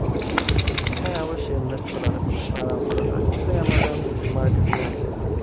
হ্যাঁ অবশ্যই invest করা ছাড়াও করা যায়। এই যে amazon marketing আছে।